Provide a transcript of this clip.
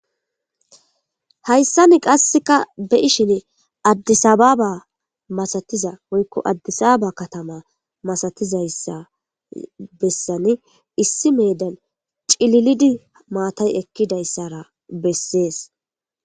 Hayssani qasseka be'ishin Addisababa masatizaysa woyko Adisaba katama masatizaysa bessani Issi meedan cililidi maatay ekidaysa bessees.